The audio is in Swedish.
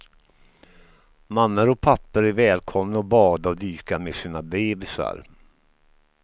Mammor och pappor är välkomna att bada och dyka med sina bebisar.